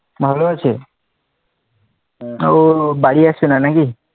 ভালো আছে ও বাড়ি আসে না নাকি?